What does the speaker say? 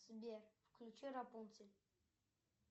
сбер включи рапунцель